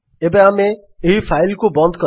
ଏବେ ଆମେ ଏହି ଫାଇଲ୍ କୁ ବନ୍ଦ କରିବା